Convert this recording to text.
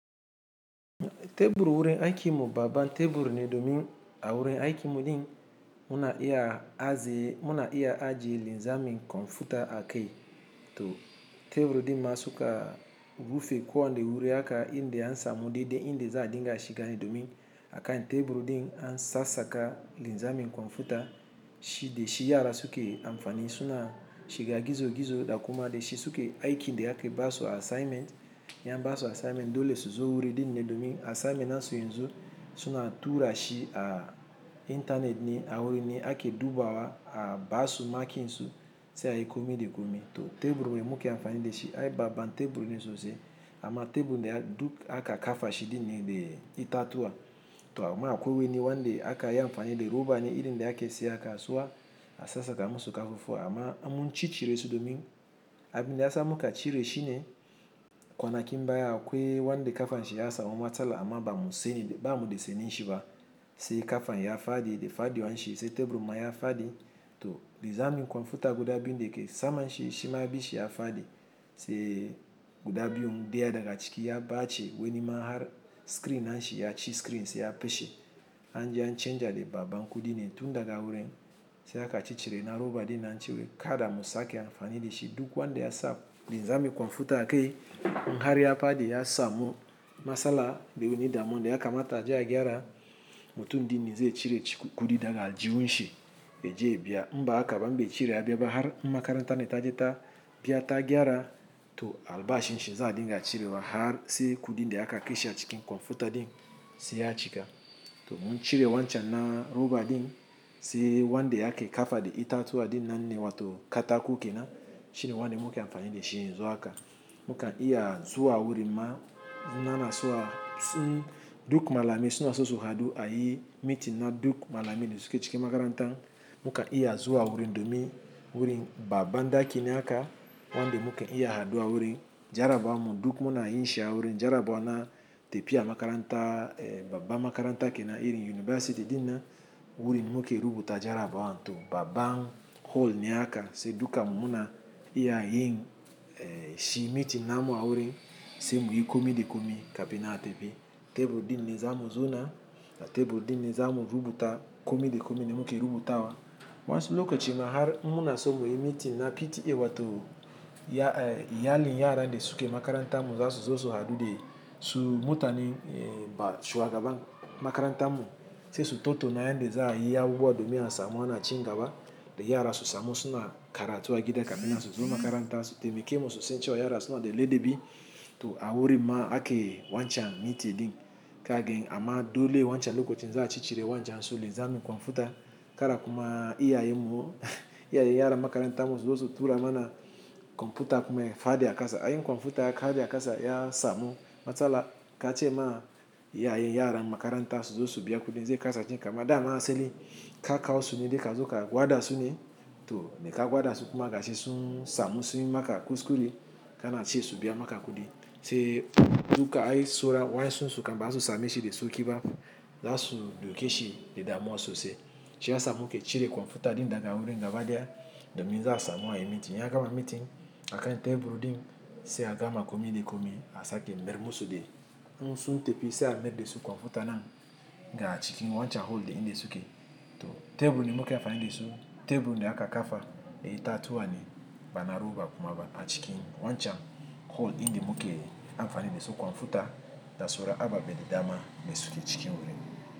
Teburu wurin aiki mu baba teburu ni domin a wurin aiki mu din muna iya aji linzamin kwamfuta a key to teburu din ma suka rufi kuwa nde wuru aka inde ansa mu di de inde za a dinga shiga ni domi. Akan teburu din an sasaka linzamin kwamfuta shi de shi yara suke amfani suna shiga gizo gizo da kuma de shi suke aiki nde ake baso assignment ya baso assignment dole su zo wuri din ne domi assignment an so yinzo suna tura shi a internet ni a wurin ake dubawa a basu makin su se a yi komi de komi to teburu me muke amfani de shi a yi baba teburu ni sosai. Ama teburu nde aka kafa shi din ne de itatuwa to ma akwe ni wande aka yi amfani de roba ni inde ake se aka soa asasa ka musu ka fufu ama amu ci cire su domi. Abi ne asa muka cire shi ne kwana ki baya akwe wande kafan shi ya asa mu matsala ama ba mu de seni shi ba se kafan ya fadi de fadi wan shi se teburu ma ya fadi to linzamin kwamfuta guda bi ne de ke sama shi shi ma bi shi ya fadi se guda biyu deya daga ciki ya bace weni ma har screen an shi ya ci screen se ya fashe an je an chanza de baba nku din ne tun daga wurin se aka ci cire na roba din an shi we kada musa ake amfani de shi duk wande ya sa linzamin kwamfuta a key nhari ya fadi ya samu matsala de wuni dama inde aka mata je a gyara mutum din ne zai cire shi kudi daga aljiwun shi be je ya biya mba aka bambe cire ya biya ba har makaranta ne ta je ta biya ta gyara to alba shin shi za a dinga cire wa har se kudi nde aka kisha cikin kwamfuta din se ya cika to mun cire wancan na roba din se wande ake kafa de itatuwa din nan ne wa to katako kenan. Shi ne wanda muke amfani de shi yinzo aka muka iya zuwa wurin ma nana soa duk malamai suna sosai hadu a yi meeting na duk malamai ne suke cikin makaranta muka iya zuwa wurin domi wurin baba nda kini aka wande muke iya haduwa wurin jarabawa mu duk muna yin shi a wurin jarabawa na tepiya makaranta eh baba makaranta kenan irin yunivasiti dinan wurin muke rubuta jarabawa to baba hall ne aka se duka mu muna iya yin eh shi meeting namu a wurin sai muyi komi de komi ka pina tepiya. Teburu din ne zamu zona teburu din ne zamu rubuta komi de komi ne muke rubuta wa. Wans lokacin har muna so mu yi meeting na piti yi wa to ya eh yali yara nde suke makaranta mu za su zoso hadu de su mutani eh ba shuwa gaba makaranta mu se su toto na yan de za a yi a guba domi ansa mu ana ci gaba de yara su samu suna kara tuwa gida ka mina su zo makaranta su tepi kemu su sanchiwa yara suna de lede bi to a wurin ma ake wancan meeting din ka gen ama dole wancan lokacin za a ci cire wancan so linzamin kwamfuta kara kuma iya yi mu iya yi yara makaranta mu sosai tura mana kwamfuta kuma ya fadi a kasa. A yi kwamfuta ya fadi a kasa ya samu matsala ka ce ma iya yi yara makaranta su zoso biya kudi ne zai kasa cika ma dama asali ka kawo sune da ka zo ka gwada sune to da ka gwada su kuma ka si sun samu sun yi maka kuskure ka na ci su biya maka kudi se duk aka yi sora wan sun suka ba su sami shi de so ki ba za su duke shi de dama sosai. Shi ya samu ke cire kwamfuta din daga wurin gaba deya domi za a samu a yi meeting ya gama meeting akan teburu din se a gama komi de komi a sake mer mu su de mun sun tepiya se a merde su kwamfuta nan ga cikin wancan hall de inde suke to teburu ne muke amfani de su teburu ne aka kafa eh itatuwa ne bana roba kuma ba a cikin wancan hall inde muke amfani de su kwamfuta da sora a babbade dama me suke cikin wurin.